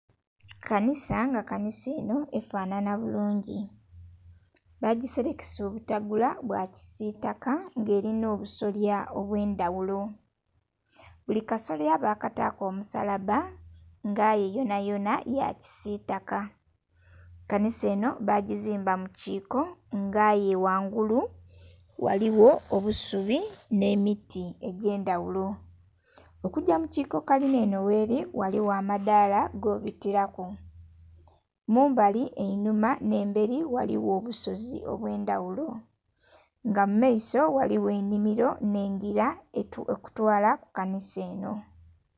Kanhisa nga kanhisa enho efanhanha bulungi bagiserekesa obutegula bwakisitaka nga elinha obusolya obwendhaghulo. Buli kasolya bakataku omusalabba nga aye yonha yonha yakisitaka, kanhisa enho bagizimba mukiko nga'ye ghangulu ghaligho obusubi nh'emiti egyendhaghulo, okugya mukiko kalinha enho gheri ghaligho amadhala gobitiraku. Kumabbali einhuma nh'eberi ghaligho obusozi obwendhaghulo nga mumaiso ghaligho enhimiro nh'engira ekutwala kukanhisa enho.